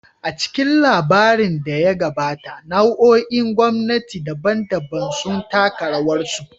A cikin labarin da ya gabata, nau'o'in gwamnati daban-daban sun taka rawarsu.